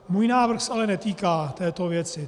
Můj návrh se ale netýká této věci.